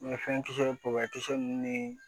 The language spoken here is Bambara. fɛn kisɛ kisɛ nunnu ni